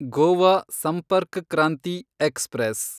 Goa Sampark Kranti express